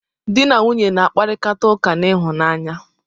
Dị na nwunye na-akparita ụka n'ịhụnanya.